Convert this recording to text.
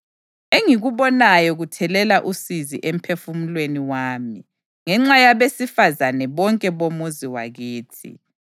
Engikubonayo kuthelela usizi emphefumulweni wami ngenxa yabesifazane bonke bomuzi wakithi.